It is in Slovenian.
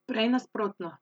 Prej nasprotno.